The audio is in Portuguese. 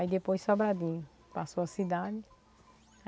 Aí depois Sobradinho passou a cidade.